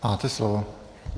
Máte slovo.